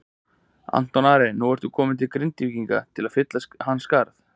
Anton Ari er nú kominn til Grindvíkinga til að fylla hans skarð.